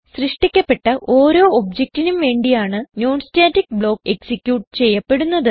സൃഷ്ടിക്കപ്പെട്ട ഓരോ objectനും വേണ്ടിയാണ് non സ്റ്റാറ്റിക് ബ്ലോക്ക് എക്സിക്യൂട്ട് ചെയ്യപ്പെടുന്നത്